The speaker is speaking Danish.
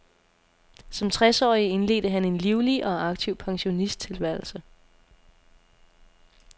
Som tres årig indledte han en livlig og aktiv pensionisttilværelse.